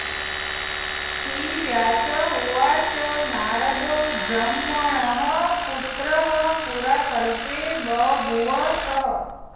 श्रीव्यास उवाच नारदो ब्रह्मणः पुत्रः पुराकल्पे बभूव सः